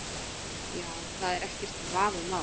Já, það er ekkert vafamál.